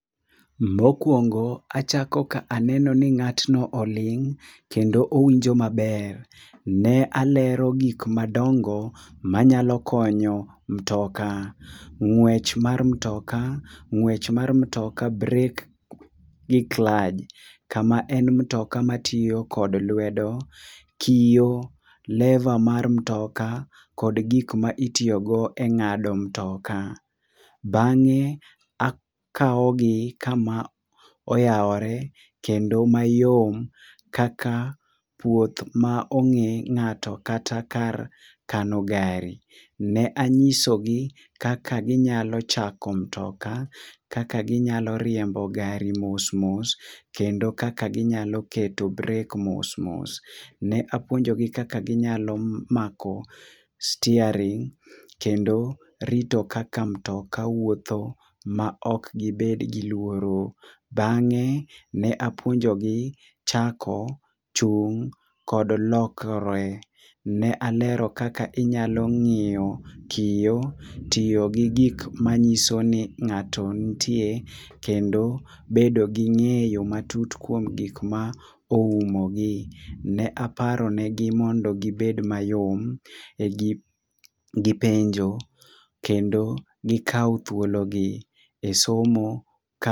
Mokuongo achako ka aneno ni ng'atno oling' kendo owinjo maber. Ne alero gik madongo manyalo konyo mutoka, ng'wech mar mutoka, ng'wech mar mutoka, brek, gi klaj ka en mutoka matiyo kod lwedo, kiyo, leva mar mtoka kod gik ma itiyogo e ng'ado mtoka. Bang'e akawogi kama oyawore kendo mayom kaka puoth ma ong'e ng'ato kata kar kano gari. Ne anyisogi kaka ginyalo chako mutoka, kaka ginyalo riembo gari mos mos kendo kaka ginyalo keto brek mos mos. Ne apuonjogi kaka ginyalo mako staring' kendo rito kaka mutoka wuotho maok gibed gi luoro. Bang'e ne apuonjogi chako, chung' kod lokre. Ne alero kaka inyalo ng'iyo kiyo, tiyo gi gik manyiso ni ng'ato nitie kendo bedo gi ng'eyo matut kuom gik ma oumogi. Ne aparo negi mondo gibed mayom e gi penjo kendo gikaw thuologi e somo ka